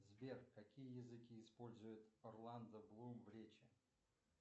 сбер какие языки использует орландо блум в речи